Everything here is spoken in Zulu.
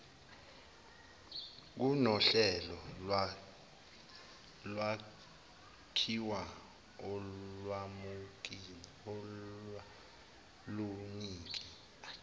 kunohlelo lwakhiwa olwalunika